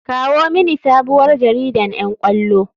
Kawo mini sabuwar jaridan ƴan ƙwallo.